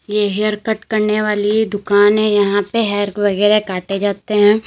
ये hair cut करने वाली दुकान है यहां पे हेयर वगैरा काटे जाते हैं।